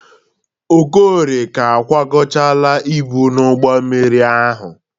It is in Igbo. Okorie ka kwagochara ibu n'ụgbọ mmiri ahụ.